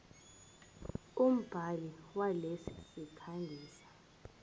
umbhali walesi sikhangisi